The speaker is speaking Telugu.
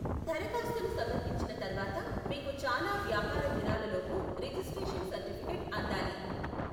దరఖాస్తును సమర్పించిన తర్వాత, మీకు చాలా వ్యాపార దినాలలోపు రిజిస్ట్రేషన్ సర్టిఫికేట్ అందాలి.